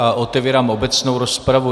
A otevírám obecnou rozpravu.